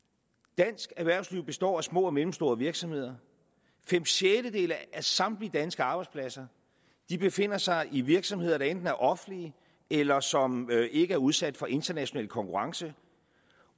dansk erhvervsliv består at små og mellemstore virksomheder fem sjettedele af samtlige danske arbejdspladser befinder sig i virksomheder der enten er offentlige eller som ikke er udsat for international konkurrence